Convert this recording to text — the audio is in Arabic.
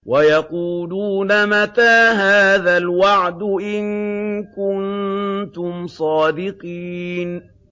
وَيَقُولُونَ مَتَىٰ هَٰذَا الْوَعْدُ إِن كُنتُمْ صَادِقِينَ